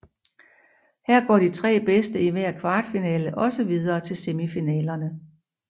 Her går de tre bedste i hver kvartfinale også videre til semifinalerne